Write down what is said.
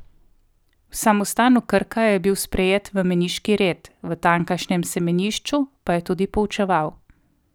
V samostanu Krka je bil sprejet v meniški red, v tamkajšnjem semenišču pa je tudi poučeval.